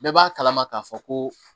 Bɛɛ b'a kalama k'a fɔ ko